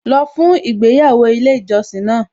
Lọ fún ìgbéyàwó ilé ìjọsìn náà